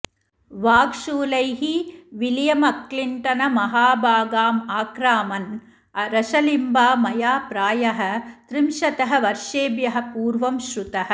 वाग्शूलैः विलियमक्लिण्टनमहाभागमाक्रामन् रशलिम्बा मया प्रायः त्रिंशतः वर्षेभ्यः पूर्वं श्रुतः